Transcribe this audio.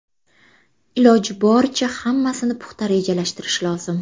Iloji boricha hammasini puxta rejalashtirish lozim.